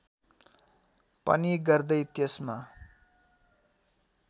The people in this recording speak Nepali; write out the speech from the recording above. पनि गर्दै त्यसमा